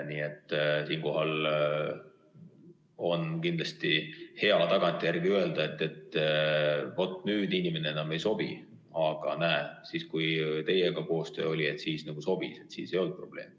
Nii et siinkohal on kindlasti hea tagantjärele öelda, et nüüd inimene enam ei sobi, aga näe, siis, kui teiega koostöö oli, siis sobis, siis ei olnud probleemi.